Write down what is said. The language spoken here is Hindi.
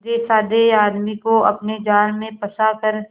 सीधेसाधे आदमी को अपने जाल में फंसा कर